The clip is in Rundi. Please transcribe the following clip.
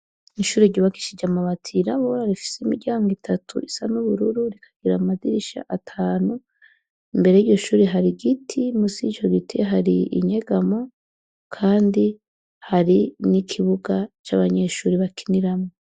Ishuri ryubakishije amabati yirabura rifise imiryango itatu isa n'ubururu rikagira amadirisha atanu imbere yiryo shuri hari igiti munsi yico giti hari inyegamo kandi hari n'ikibuga ca abanyeshuri bakiniramwo